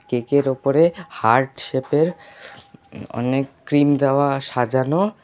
Cake -এর ওপরে heart shape -এর অনেক ক্রিম দেওয়া সাজানো।